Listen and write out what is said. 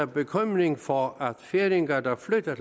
bekymring for at færinger der flytter